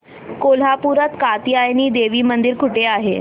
कोल्हापूरात कात्यायनी देवी मंदिर कुठे आहे